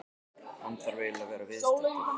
Hann þarf eiginlega að vera viðstaddur.